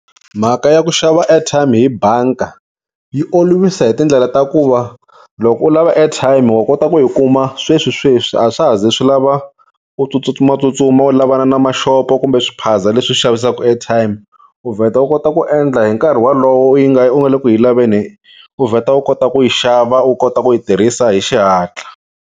Mhaka ya ku xava airtime hi banka yi olovisa hi tindlela ta ku va loko u lava airtime wa kota ku yi kuma sweswisweswi a swa ha ze swi lava u tsutsumatsutsuma u lavana na ma-shop-o kumbe swiphaza leswi xavisaka airtime u vheta u kota ku endla hi nkarhi wolowo yi nga u nga le ku yi laveni u vheta u kota ku yi xava u kota ku yi tirhisa hi xihatla.